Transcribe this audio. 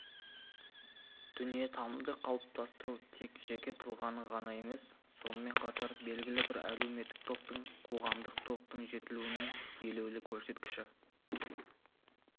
дүниетанымды қалыптастыру тек жеке тұлғаның ғана емес сонымен қатар белгілі бір әлеуметтік топтың қоғамдық таптың жетілуінің елеулі көрсеткіші